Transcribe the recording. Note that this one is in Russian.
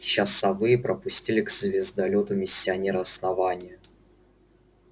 часовые пропустили к звездолёту миссионера основания